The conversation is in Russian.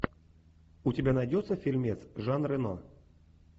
у тебя найдется фильмец жан рено